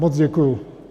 Moc děkuji.